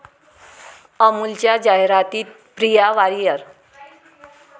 अमुलच्या जाहिरातीत प्रिया वारियर!